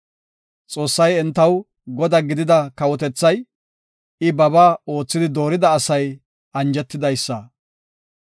Xoossay entaw Godaa gidida kawotethay, I babaa oothidi doorida asay anjetidaysata.